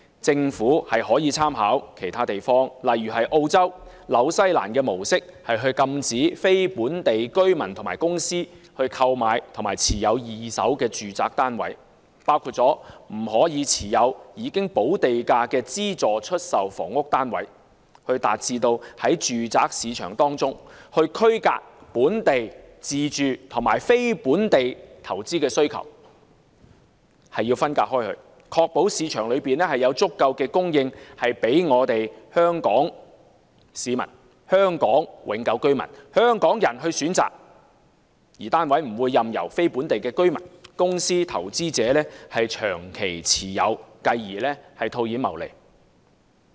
政府可以參考其他地方的模式，例如澳洲和新西蘭，禁止非本地居民和公司購買及持有二手住宅單位，包括不准持有已補地價的資助出售房屋單位，以達致在住宅市場中區隔本地自住和非本地投資需求，從而確保市場有足夠供應予香港市民、香港永久居民和香港人選擇，單位不會任由非本地居民或公司投資者長期持有，繼而套現謀利。